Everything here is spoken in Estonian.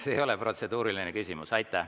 See ei ole protseduuriline küsimus.